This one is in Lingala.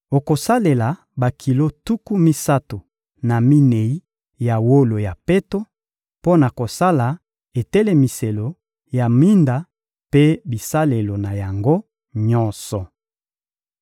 Okosalela bakilo tuku misato na minei ya wolo ya peto mpo na kosala etelemiselo ya minda mpe bisalelo na yango nyonso.